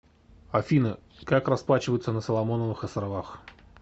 афина как расплачиваться на соломоновых островах